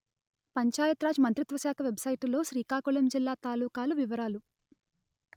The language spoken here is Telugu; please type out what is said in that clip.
పంచాయత్ రాజ్ మంత్రిత్వ శాఖ వెబ్‌సైటులో శ్రీకాకుళం జిల్లా తాలూకాల వివరాలు